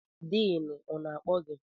Diinu ọ na-akpọ gị?